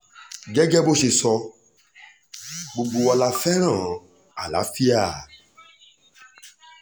gẹ́gẹ́ bó ṣe sọ gbogbo wa la fẹ́ràn àlàáfíà